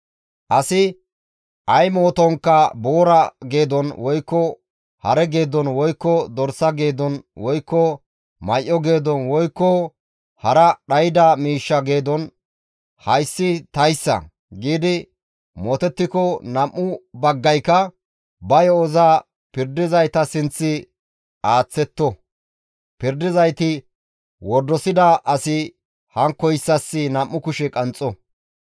«Asi ay mootonkka boora geedon, woykko hare geedon, woykko dorsa geedon, woykko may7o geedon, woykko hara dhayda miishsha geedon, ‹Hayssi tayssa› giidi mootettiko, nam7u baggayka ba yo7oza pirdizayta sinth aaththetto; pirdizayti wordosida asi hankkoyssas nam7u kushe qanxxo.